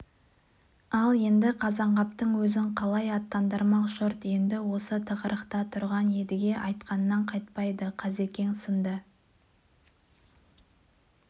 ал енді қазанғаптың өзін қалай аттандырмақ жұрт енді осы тығырықта тұрған едіге айтқанынан қайтпады қазекең сынды